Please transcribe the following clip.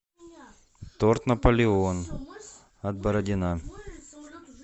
торт наполеон от бородина